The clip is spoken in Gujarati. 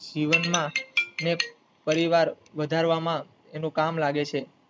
જીવનમાં ને પરિવાર વધારવામાં એનું કામ લાગે છે.